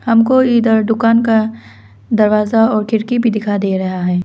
हमको इदर दुकान का दरवाज़ा और खिड़की भी दिखाई दे रहा है।